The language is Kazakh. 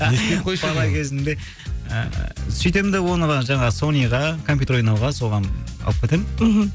бала кезімде ыыы сөйтем де оны жаңағы сониға компьютер ойнауға соған алып кетемін мхм